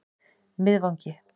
Miðvangi